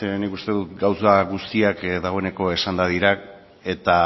nik uste dut gauza guztiak dagoeneko esanda dira eta